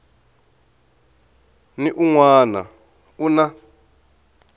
ni un wana u na